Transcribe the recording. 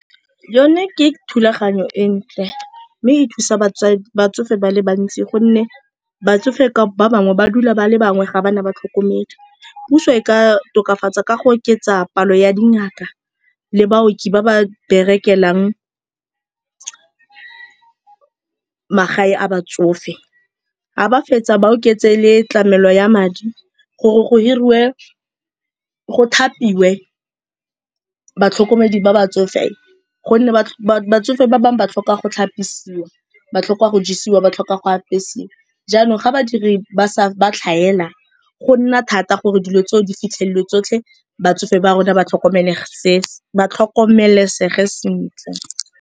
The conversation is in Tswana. Yone ke thulaganyo e ntle mme e thusa batsofe ba le bantsi gonne batsofe ba bangwe ba dula ba le bangwe ga ba na batlhokomedi. Puso e ka tokafatsa ka go oketsa palo ya dingaka le baoki ba ba berekelang magae a batsofe, ga ba fetsa ba oketse le tlamelo ya madi gore go thapiwe batlhokomedi ba batsofe gonne batsofe ba bangwe ba tlhoka go tlhapisiwa, ba tlhoka go jisiwa, ba tlhoka go apesiwa. Jaanong ga badiri ba tlhaela go nna thata gore dilo tseo di fitlhelelwe tsotlhe batsofe ba rona ba tlhokomelesege sentle.